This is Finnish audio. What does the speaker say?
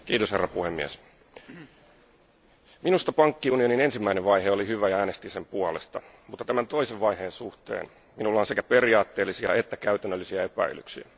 Arvoisa puhemies, minusta pankkiunionin ensimmäinen vaihe oli hyvä ja äänestin sen puolesta, mutta tämän toisen vaiheen suhteen minulla on sekä periaatteellisia että käytännöllisiä epäilyksiä.